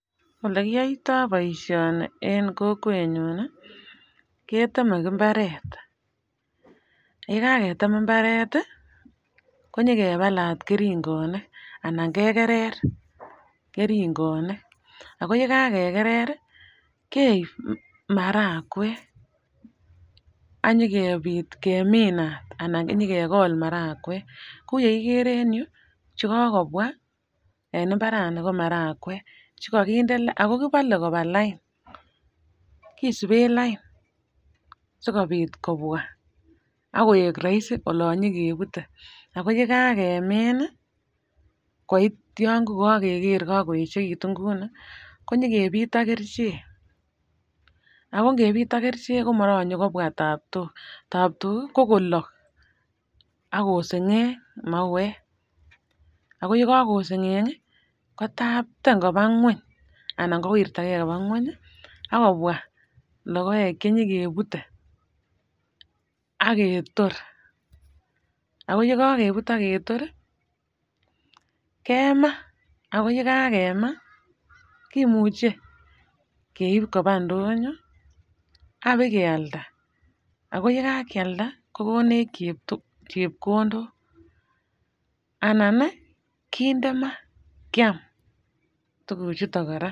Ole kiyoito boishoni en kokwenyun nii ketemen imbaret yekaketem imbaret tii konyokepalat keringonik anan kekere keringonik ako yekakekere rii keib marawek anyo kebit keminat ana inyokekolat marakwek. Kou yekiker en yuu chekokobwa en imbarani ko marawek ako kipole koba lain kisibe lain sikopit kobwa akoik roisi olon nyokebute, ako yekakemin nii koityin kokokere ko kokoyechekitun kouni konyo kepit kerichek. Ako nkepit ak kerichek komoronye kobwa taptok, taptok ko kolok ak kosengeng mauwek. Ako yekokosenge nki kitampten kobwa ngweny anan kowirtagee koba ngwenyi akobwa lokoek cheyokebute ak ketor ako yekoketor kemaa ko yekakema kimuche keib koba ndonyo apakealda, ako yekakiakda kokonech chepkondok anan nii kinde maa ak kiam tukuk chuton Koraa.